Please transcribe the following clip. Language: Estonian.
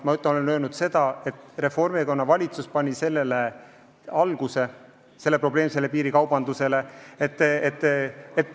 Ma olen öelnud, et Reformierakonna valitsus pani probleemsele piirikaubandusele aluse.